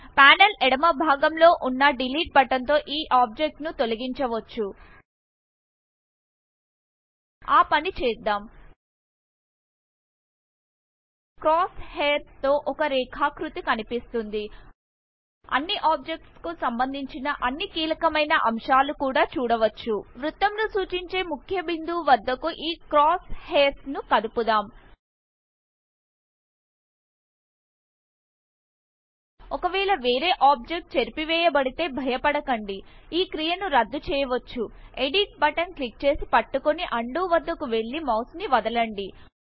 panel ఎడమ భాగం లోనున్న డిలీట్ బటన్ తో ఈ ఆబ్జెక్ట్ ను తొలగించవచ్చు ఆ పని చేద్దాం క్రాస్ హెయిర్స్ తో ఒక రేఖాకృతి కనిపిస్తుంది అన్నిobjects కు సంబంధించిన అన్ని కీలకమైన అంశాలు కూడా చూడవచ్చు వృత్తమును సూచించే ముక్య బిందువు వద్దకు ఈ క్రాస్ హెయిర్స్ ను కదుపుదాం ఒకవేళ వేరే ఆబ్జెక్ట్ చెరిపివేయబడితే భయపడకండి ఈ క్రియ ను రద్దు చెయ్యవచ్చు ఎడిట్ బటన్ క్లిక్ చేసిపట్టుకొని అన్డు వద్దకు వెళ్లి మౌస్ ను వదలండి